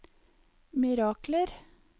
mirakler